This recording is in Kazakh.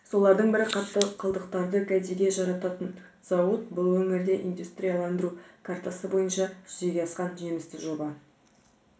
солардың бірі қатты қалдықтарды кәдеге жарататын зауыт бұл өңірде индустрияландыру картасы бойынша жүзеге асқан жемісті жоба